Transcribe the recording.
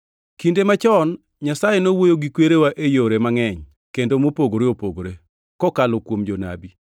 Kinde machon Nyasaye nowuoyo gi kwerewa e yore mangʼeny kendo mopogore opogore, kokalo kuom jonabi,